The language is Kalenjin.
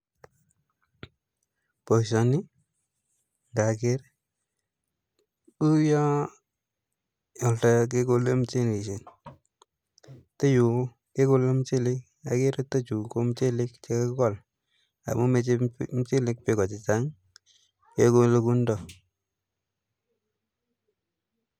Boisioni ngageer kouyo yotoyo kekole muchelesiek, yutoyu kekole muchelesiek, ageere chutokchu ko muchelek che kakikol amun meche muchelek beeko chechang kekole kounito.